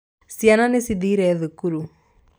Ciana nĩcithire thukuru.